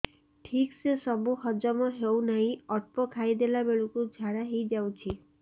ଠିକସେ ସବୁ ହଜମ ହଉନାହିଁ ଅଳ୍ପ ଖାଇ ଦେଲା ବେଳ କୁ ଝାଡା ହେଇଯାଉଛି